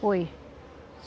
Foi.